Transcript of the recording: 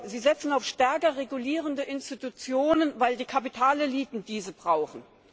Sie setzen auf stärker regulierende Institutionen, weil die Kapitaleliten diese brauchen.